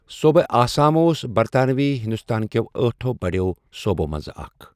صوبہ آسام اوس برطانوی ہندوستان کٮ۪و ٲٹھو بڑٮ۪و صوبو منٛز اکھ ۔